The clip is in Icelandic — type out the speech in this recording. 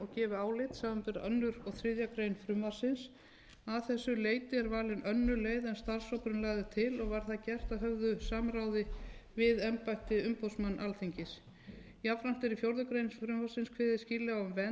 frumvarpsins að þessu leyti er valin önnur leið en starfshópurinn lagði til og var það gert að höfðu samráði við embætti umboðsmanns alþingis jafnframt er í fjórða grein frumvarpsins kveðið skýrlega á um vernd